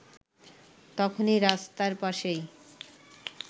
তখনই রাস্তার পাশেই